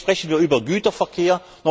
Jetzt sprechen wir über Güterverkehr.